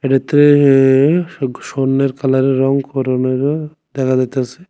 ভেতরে এ একটু স্বর্ণের কালারের রং করনেরো দেখা যাইতাছে।